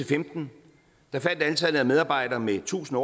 femten faldt antallet af medarbejdere med tusind